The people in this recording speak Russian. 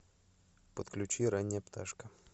подключи ранняя пташка